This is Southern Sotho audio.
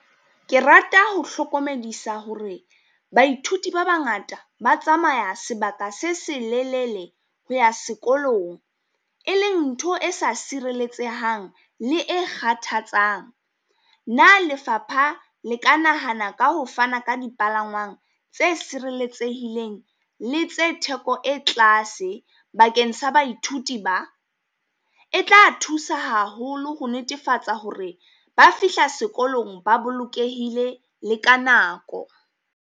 Ke rata ho hlokomedisa hore baithuti ba bangata ba tsamaya sebaka se selelele ho ya sekolong, e leng ntho e sa sireletsehang le e kgathatsang. Na Lefapha le ka nahana ka ho fana ka dipalangwang tse sireletsehileng, le tsa theko e tlase bakeng sa baithuti ba? E tla thusa haholo ho netefatsa hore ba fihla sekolong ba bolokehile le ka nako.